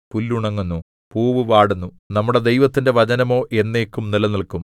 പുല്ലുണങ്ങുന്നു പൂവ് വാടുന്നു നമ്മുടെ ദൈവത്തിന്റെ വചനമോ എന്നേക്കും നിലനില്ക്കും